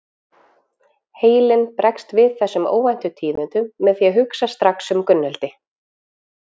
Heilinn bregst við þessum óvæntu tíðindum með því að hugsa strax um Gunnhildi.